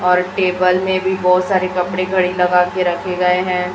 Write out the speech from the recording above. और टेबल में भी बहुत सारे कपड़े घड़ी लगा के रखे गए हैं।